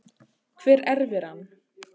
Hver erfir hann?